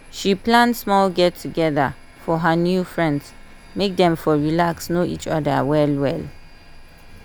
she plan small get together for her new friends make dem for relax know each other well well